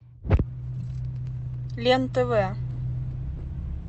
лен тв